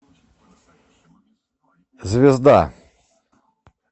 звезда